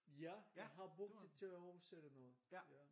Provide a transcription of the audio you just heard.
Ja jeg har brugt det til at oversætte noget ja